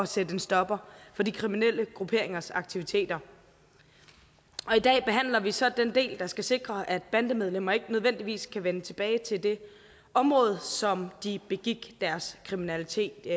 sætte en stopper for de kriminelle grupperingers aktiviteter i dag behandler vi så den del der skal sikre at bandemedlemmer ikke nødvendigvis kan vende tilbage til det område som de begik deres kriminalitet i